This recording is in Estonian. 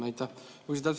Aitäh!